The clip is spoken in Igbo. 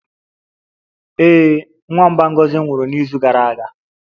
Ee, nwamba Ngozi nwụrụ n'izu gara aga